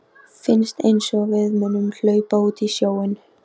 Finnst einsog við munum hlaupa út í sjóinn.